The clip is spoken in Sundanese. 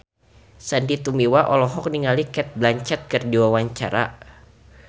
Sandy Tumiwa olohok ningali Cate Blanchett keur diwawancara